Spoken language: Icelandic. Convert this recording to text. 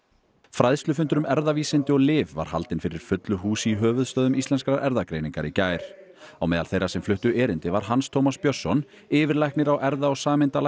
fræðslufundur um erfðavísindi og lyf var haldinn fyrir fullu húsi í höfuðstöðvum Íslenskrar erfðagreiningar í gær á meðal þeirra sem fluttu erindi var Hans Tómas Björnsson yfirlæknir á erfða og